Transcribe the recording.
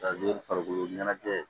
farikolo ɲɛnajɛ